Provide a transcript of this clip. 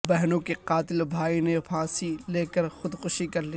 بہنوں کے قاتل بھائی نے پھانسی لے کر خودکشی کرلی